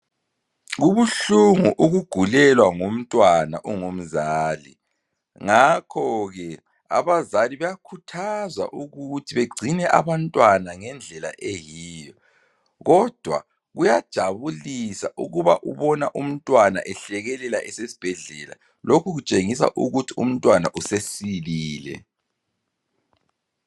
Kubuhlungu ukugulelwa ngumntwana ungumzali ngakho ke abazali bayakhuthazwa ukuthi bengcine abantwana ngendlela eyiyo kodwa kuyajabulisa ukuba ubona mntwana ehlekelela esesibhedlela lokhu kutshengisa ukuthi umntwana usesilile.